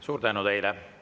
Suur tänu teile!